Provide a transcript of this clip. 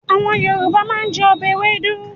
Àwọn Yorùbá máa ń jẹ ọbẹ̀ ewédú.